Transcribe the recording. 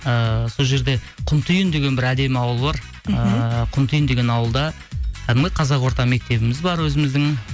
ыыы сол жерде құнтиын деген бір әдемі ауыл бар мхм ыыы құнтиын деген ауылда кәдімгі қазақ орта мектебіміз бар өзіміздің